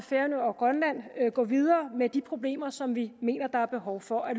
færøerne og grønland gå videre med de problemer som vi mener der er behov for at